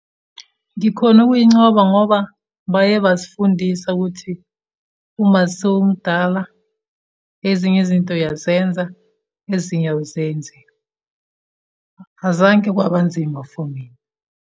Ngikhone ukuyincoba, ngoba baye basifundisa ukuthi uma sowumdala ezinye izinto uyazenza, ezinye awuzenzi. Azange kwaba nzima for mina.